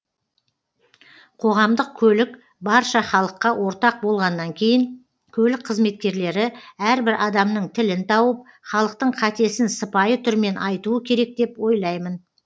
қоғамдық көлік барша халыққа ортақ болғаннан кейін көлік қызметкерлері әрбір адамның тілін тауып халықтың қатесін сыпайы түрмен айтуы керек деп ойлаймын